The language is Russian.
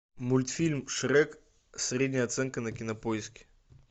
мультфильм шрек средняя оценка на кинопоиске